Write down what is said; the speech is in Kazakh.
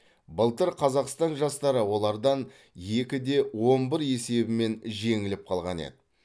былтыр қазақстан жастары олардан екі де он бір есебімен жеңіліп қалған еді